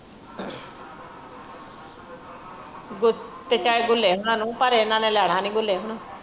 ਗੁੱਲੇ ਹੋਣਾ ਨੂੰ ਪਰ ਇਹਨਾਂ ਨੇ ਲੈਣਾ ਨਹੀਂ ਗੁੱਲੇ ਹੋਣਾ।